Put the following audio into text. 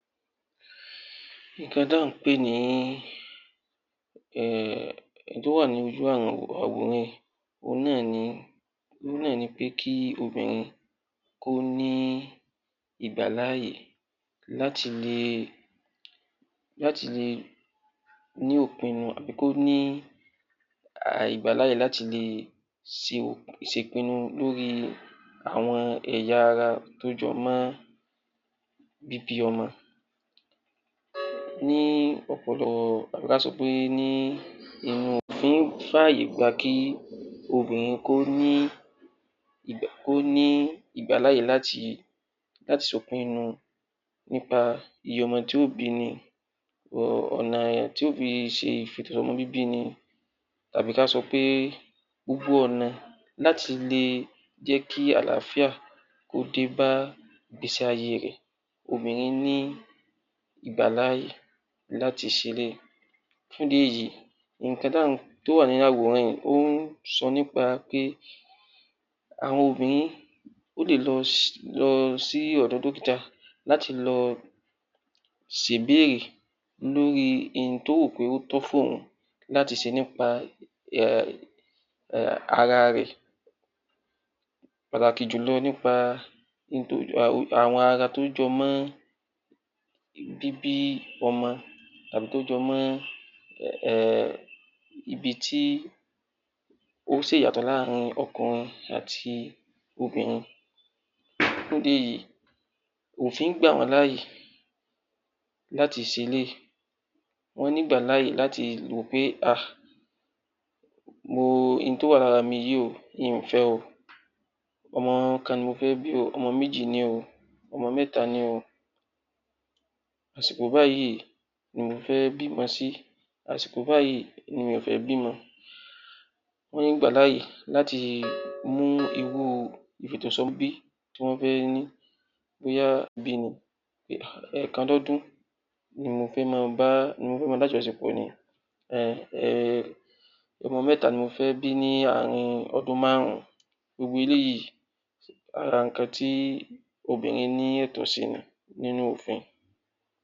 Nǹkan tí à ń pè ní...ehhh... ohun tó wà ní ojú àwọn àwòrán yìí, òun náá̀ ni, òun náà ni pé kí obìnrin kó ní ìgbàláàyè láti lè ní ìpinnu àbí kó ní ìgbàláàyè láti lè ṣe ìpinnu lórí àwọn ẹ̀yà ara tó jọ mọ́ bíbí ọmọ. Ní ọpọ̀lọpọ̀ tàbí ká sọ pé ní...èèyàn ò kí ń fàyè gba kí obìnrin kó ní ìgbàláyè láti ṣe ìpinnu nípa iye ọmọ tí yó bi ni, ọ̀nà tí yóò fi ṣe ìfèto sí ọmọ bíbí ni, tàbí ká sọ pé gbogbo ọ̀nà láti lè jẹ́ kí àláfíà kó dé bá ìgbésí ayé rẹ̀. Obìnrin ní ìgbàláàyè láti ṣe eléyìí. Fún ìdí èyí, nǹkan tó wà nínú àwòrán yìí ó ń sọ nípa pé àwọn obìnrin lè lọ sí ọ̀dọ̀ dọ́kítà láti lọ ṣe ìbéèrè lórí ohun tí ó rò pé ó tọ́ fún òun láti ṣe nípa ara rẹ̀, pàtàkì jù nípa àwọn ẹ̀ya ara tó jọ mọ́ bíbí ọmọ tàbí tó jọ mọ́ ibi tí ó ṣe ìyàtọ̀ láàrin ọkùnrin àti obìnrin. Fún ìdí èyí, òfin gbà wá láàyè láti se eléyìị́. Wọ́n ní ìgbàláàyè láti wò pé ah ohun tó wà lára mi yìí mi ò fẹ o. ọmọ kan ni mo fẹ́ bi o,ọmọ méjì ni o, ọmọ mẹ́ta ni o, àsìkò báyìí ni mo fẹ́ bímọ, àsìkò báyìí ni mi ò fẹ́ bímọ. Wọ́n ní ìgbàláàyè láti mú irú ìfètò sí ọmọ bíbí tí wọ́n fẹ́ ní bóyá ẹ̀ẹ̀kan lọ́dún ní mo fẹ́ máa lájọṣepọ̀ ni, ọmọ mẹ́ta ni mo fẹ́ bí ní ààrín ọdún márùn ún. Gbogbo eléyìí, ara nǹkan tí obìrin lẹ́tọ̀ọ́ sí ni nínú òfin